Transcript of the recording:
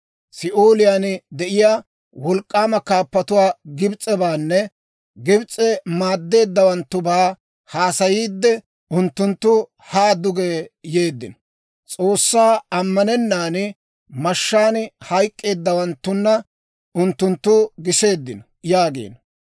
Si'ooliyaan de'iyaa wolk'k'aama kaappatuu Gibs'ebaanne Gibs'e maaddeeddawanttubaa haasayiidde, ‹Unttunttu haa duge yeeddino; S'oossaa ammanennan, mashshaan hayk'k'eeddawanttuna unttunttu giseeddino› yaagiino.